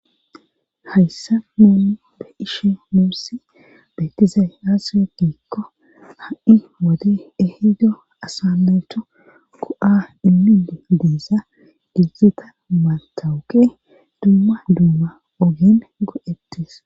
hayssa nuum be ishe muussi beetiza haasiwe giikko ha7i wode ehido asaleto ko7a immini deesa gizita mantawuke dumma dumma ogen godettis